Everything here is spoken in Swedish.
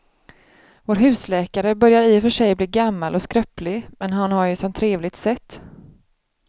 Vår husläkare börjar i och för sig bli gammal och skröplig, men han har ju ett sådant trevligt sätt!